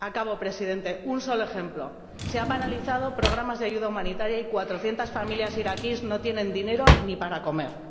Acabo, Presidente, con un último ejemplo se han paralizado programas de ayuda humanitaria y 400 familias iraquíes no tienen dinero ni para comer.